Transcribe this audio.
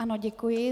Ano, děkuji.